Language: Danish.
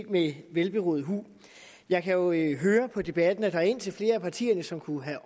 med velberåd hu jeg kan jo høre på debatten at der er indtil flere af partierne som kunne have